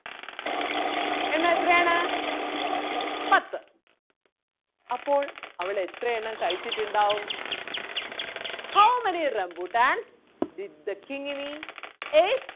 എണ്ണം എത്രയാണ് പത്ത് അപ്പോൾ അവൾ എത്രയെണ്ണം കഴിച്ചിട്ടുണ്ടാകും How many rambuttan did the Kingni ate?